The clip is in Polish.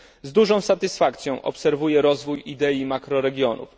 Z dużą satysfakcją obserwuję rozwój idei makroregionów.